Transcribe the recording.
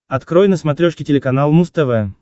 открой на смотрешке телеканал муз тв